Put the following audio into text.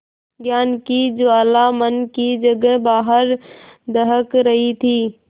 ज्ञान की ज्वाला मन की जगह बाहर दहक रही थी